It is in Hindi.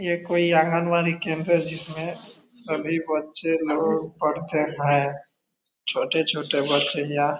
ये कोई आँगन बाड़ी केंद्र है जिसमे सभी बच्चे लोग पढ़ते हैं छोटे-छोटे बच्चे या --